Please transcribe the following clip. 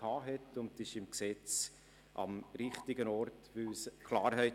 Diese ist jetzt im Gesetz am richtigen Ort und schafft Klarheit.